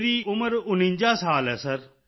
ਮੇਰੀ ਉਮਰ 49 ਸਾਲ ਹੈ ਸਰ